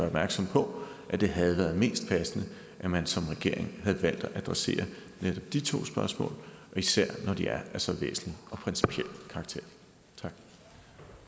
opmærksom på at det havde været mest passende at man som regering havde valgt at adressere netop de to spørgsmål og især når de er af så væsentlig og principiel karakter